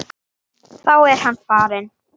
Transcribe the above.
Þá er hann farinn.